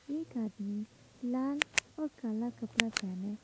एक आदमी लाल और काला कपड़ा पहने--